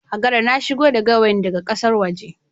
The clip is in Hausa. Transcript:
Hagara na shigo da gawayi da ga kasan waje